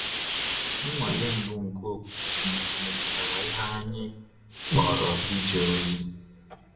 Nnwale mbụ nke okwukwe m metụtara ihe anyị kpọrọ ije ozi.